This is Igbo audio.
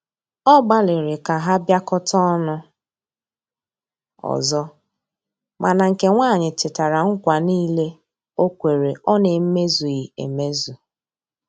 Ọ gbaliri ka ha biakota ọnụ ọzọ, mana nke nwanyi chetara nKwa nile okwere ọ na eme zughi emezụ